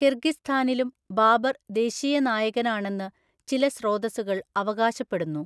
കിർഗിസ്ഥാനിലും Babur ദേശീയ നായകനാണെന്ന് ചില സ്രോതസ്സുകൾ അവകാശപ്പെടുന്നു.